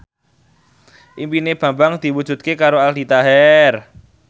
impine Bambang diwujudke karo Aldi Taher